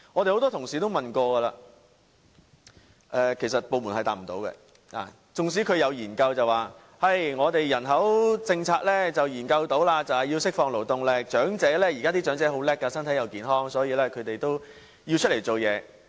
很多同事也提過質詢，但部門回答不到我們，縱使有研究說人口政策是要釋放勞動力，現在的長者很精明，身體又健康，所以他們也要出來工作。